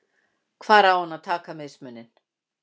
Hvar á hann að taka mismuninn?